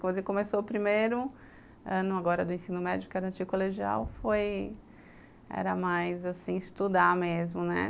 Quando começou o primeiro ano, agora, do ensino médio, que era anticolegial, foi... Era mais, assim, estudar mesmo, né?